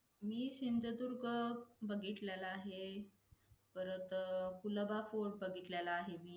आणि आणखी बगते काही एक म्हणतात की ह्याला गोष्टीत स्वार्थी आहे . हा माणुस खूप दयाळू आहे हा माणुस खूप दुसऱ्यांचा विचार करतो.